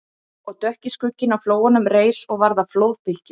Og dökki skugginn á flóanum reis og varð að flóðbylgju